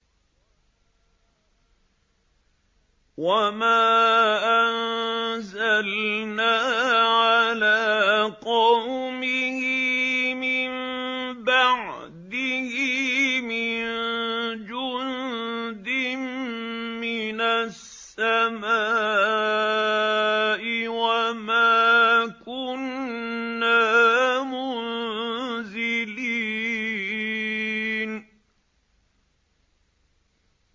۞ وَمَا أَنزَلْنَا عَلَىٰ قَوْمِهِ مِن بَعْدِهِ مِن جُندٍ مِّنَ السَّمَاءِ وَمَا كُنَّا مُنزِلِينَ